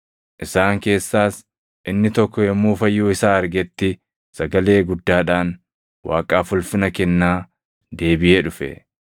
Isaan keessaas inni tokko yommuu fayyuu isaa argetti sagalee guddaadhaan Waaqaaf ulfina kennaa deebiʼee dhufe.